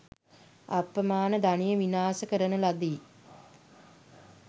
අප්‍රමාණ ධනය විනාශ කරන ලදී.